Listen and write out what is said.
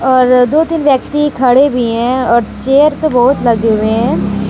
और दो तीन व्यक्ति खड़े भी हैं और चेयर तो बहोत लगे हुए हैं।